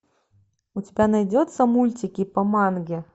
у тебя найдется мультики по манге